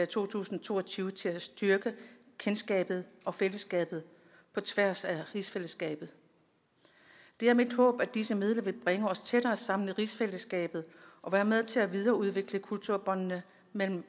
to tusind og to og tyve til at styrke kendskabet og fællesskabet på tværs af rigsfællesskabet det er mit håb at disse midler vil bringe os tættere sammen i rigsfællesskabet og være med til at videreudvikle kulturbåndene mellem